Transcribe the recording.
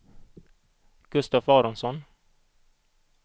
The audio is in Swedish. Gustaf Aronsson